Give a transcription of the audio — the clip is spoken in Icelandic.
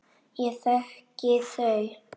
Ég þekki þau.